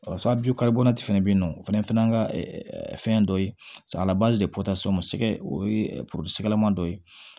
fɛnɛ bɛ ye nɔ o fɛnɛ an ka fɛn dɔ ye samiyɛ de kɔta o sɛgɛ o ye dɔ ye